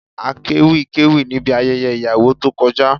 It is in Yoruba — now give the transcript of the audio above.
Akéwì kéwì níbi ayẹyẹ ìyàwó tó kọjá